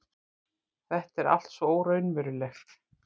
Þetta er allt svo óraunverulegt.